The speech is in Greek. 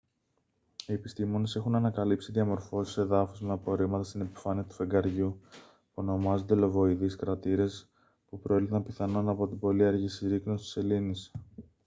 οι επιστήμονες έχουν ανακαλύψει διαμορφώσεις εδάφους με απορρίμματα στην επιφάνεια του φεγγαριού που ονομάζονται λοβοειδείς κρατήρες που προήλθαν πιθανόν από την πολύ αργή συρρίκνωση της σελήνης